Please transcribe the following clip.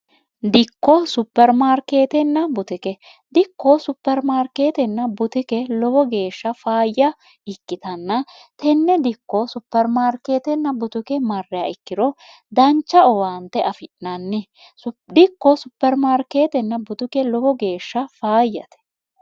dikko supermaarkeetenna butike dikkoo supermaarkeetenna butuke lowo geeshsha faayya ikkitanna tenne dikko supermaarkeetenna butuke marreya ikkiro dancha owaante afi'nanni dhikkoo supermaarkeetenna butuke lowo geeshsha faayyate